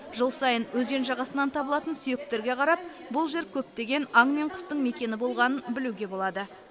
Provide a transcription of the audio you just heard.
жыл сайын өзен жағасынан табылатын сүйектерге қарап бұл жер көптеген аң мен құстың мекені болғанын білуге болады